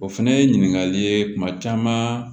O fɛnɛ ye ɲininkali ye kuma caman